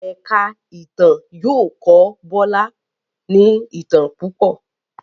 èka ìtàn yóò kọ Bola ní itán púpọ